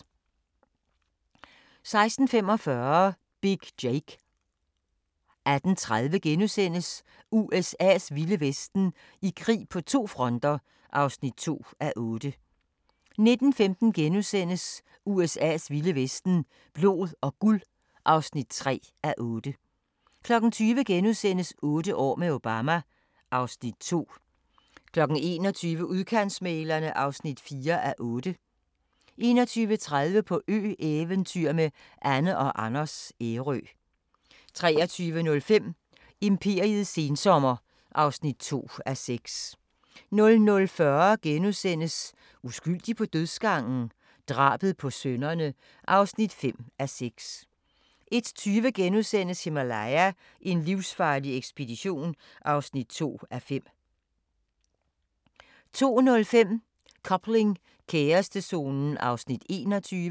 16:45: Big Jake 18:30: USA's vilde vesten: I krig på to fronter (2:8)* 19:15: USA's vilde vesten: Blod og guld (3:8)* 20:00: Otte år med Obama (Afs. 2)* 21:00: Udkantsmæglerne (4:8) 21:30: På ø-eventyr med Anne & Anders - Ærø 23:05: Imperiets sensommer (2:6) 00:40: Uskyldig på dødsgangen? Drabet på sønnerne (5:6)* 01:20: Himalaya: en livsfarlig ekspedition (2:5)* 02:05: Coupling – kærestezonen (21:28)